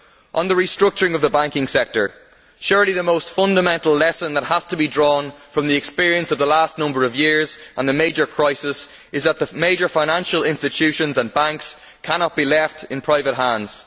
On the restructuring of the banking sector, surely the most fundamental lesson that has to be drawn from the experience of the last number of years and the major crisis is that the major financial institutions and banks cannot be left in private hands.